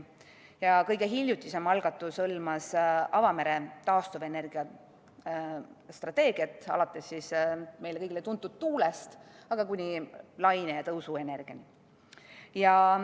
Ja kõige hiljutisem algatus hõlmas avamere taastuvenergia strateegiat, alates meile kõigile tuntud tuulest kuni laine- ja tõusuenergiani.